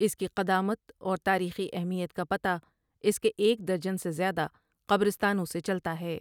اس کی قدامت اور تاریخی اہمیت کا پتہ اس کے ایک درجن سے زیادہ قبرستانوں سے چلتا ہے ۔